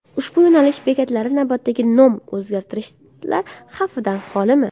Ushbu yo‘nalish bekatlari navbatdagi nom o‘zgartirishlar xavfidan xolimi?